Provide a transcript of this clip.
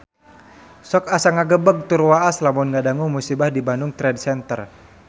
Sok asa ngagebeg tur waas lamun ngadangu musibah di Bandung Trade Center